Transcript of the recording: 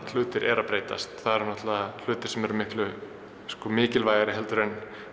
hlutir eru að breytast hlutir sem eru miklu mikilvægari en